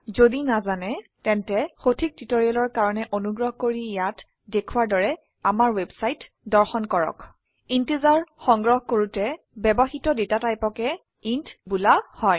যদি নাজানে তেন্তে সঠিক টিউটৰিয়েলৰ কাৰনে অনুগ্ৰহ কৰি ইয়াত দেখোৱাৰ দৰে আমাৰ ৱেবছাইট দৰ্শন কৰক ইন্টিজাৰ সংগ্ৰহ কৰোতে ব্যবহৃত ডেটা টাইপকে ইণ্ট বোলা হয়